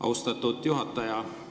Austatud juhataja!